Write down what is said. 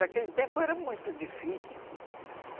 Naquele tempo era muito difícil.